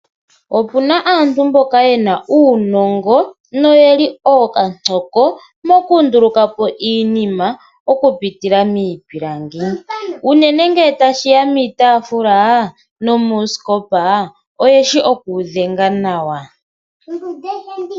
Opuna aantu mboka yena uunongo noyeli okatsoko moku ndulukapo iinima oku pitila miipilangi, uunene nge tashiya miitafula nuusikopa ,oyeshi oku wu dhenga nawa